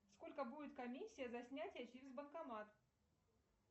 сколько будет комиссия за снятие через банкомат